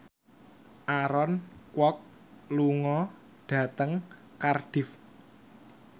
Aaron Kwok lunga dhateng Cardiff